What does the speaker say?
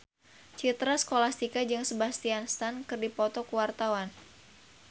Citra Scholastika jeung Sebastian Stan keur dipoto ku wartawan